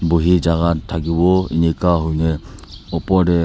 bohi chaka thakiwo eneka hoi nae opor tey.